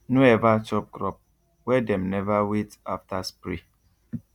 no ever chop crop wey dem never wait after spray